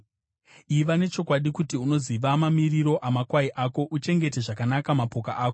Iva nechokwadi kuti unoziva mamiriro amakwai ako, uchengete zvakanaka mapoka ako;